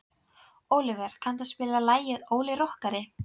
Ólíver, kanntu að spila lagið „Óli rokkari“?